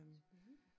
Spændende